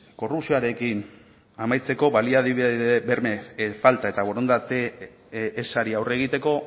korrupzioarekin amaitzeko baliabide berme falta eta borondate ezari aurre egiteko